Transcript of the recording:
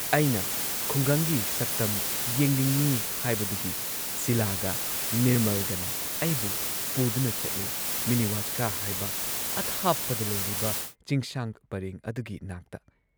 ꯑꯩꯅ ꯈꯨꯡꯒꯪꯒꯤ ꯁꯛꯇꯝ ꯌꯦꯡꯅꯤꯡꯏ ꯍꯥꯏꯕꯗꯨꯒꯤ ꯁꯤꯂꯥꯒ ꯅꯤꯔꯃꯜꯒꯅ ꯑꯩꯕꯨ ꯄꯨꯗꯨꯅ ꯆꯠꯂꯦ ꯃꯤꯅꯤ ꯋꯥꯁꯀꯥ ꯍꯥꯏꯕ ꯑꯊꯥꯞꯄꯗ ꯂꯩꯔꯤꯕ ꯆꯤꯡꯁꯥꯡ ꯄꯔꯦꯡ ꯑꯗꯨꯒꯤ ꯅꯥꯛꯇ ꯫